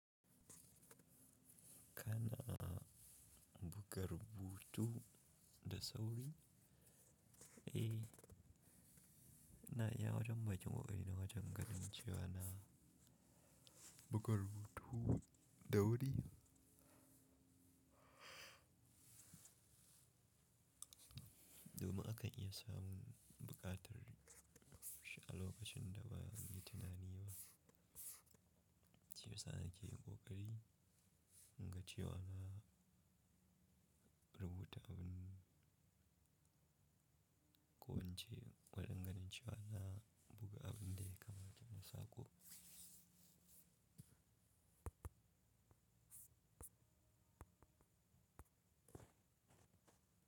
Kana buga rubutu da sauri? Eh ina iya wajen bakin ƙoƙarina wajen gani cewa na buga rubutu da wuri. Domin akan iya samun buƙatar shi a lokacin da ba a yi tunani ba. Shi yasa nakeyin ƙoƙari inga cewa rubuta abin, ko ince waɗannan cewa na buga abin dai kamar janasaƙo.